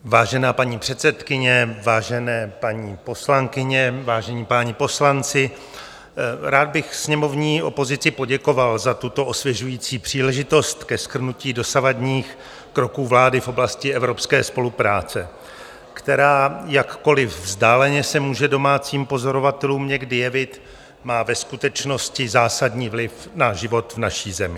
Vážená paní předsedkyně, vážené paní poslankyně, vážení páni poslanci, rád bych sněmovní opozici poděkoval za tuto osvěžující příležitost ke shrnutí dosavadních kroků vlády v oblasti evropské spolupráce, která, jakkoli vzdáleně se může domácím pozorovatelům někdy jevit, má ve skutečnosti zásadní vliv na život v naší zemi.